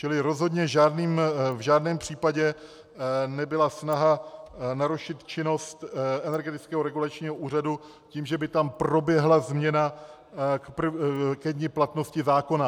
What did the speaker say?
Čili rozhodně v žádném případě nebyla snaha narušit činnost Energetického regulačního úřadu tím, že by tam proběhla změna ke dni platnosti zákona.